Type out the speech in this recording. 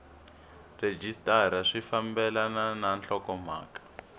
rhejisitara swi fambelena na nhlokomhaka